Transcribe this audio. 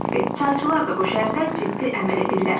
Çayçılar da bu şərtə ciddi əməl edirlər.